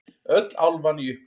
Öll álfan í uppnámi.